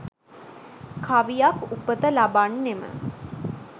කවියක් උපත ලබන්නෙම